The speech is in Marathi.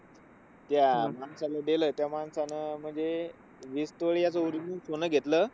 त्या माणसाला दिलं होतं, त्या माणसाने म्हणजे वीस तोळे आधी original सोनं घेतलं,